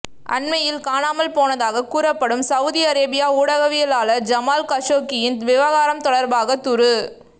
அண்மையில் காணாமல் போனதாக கூறப்படும் சவுதி அரேபிய ஊடகவிலாளர் ஜமால் கஷோக்கியின் விவகாரம் தொடர்பாக துரு